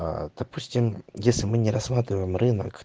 допустим если мы не рассматриваем рынок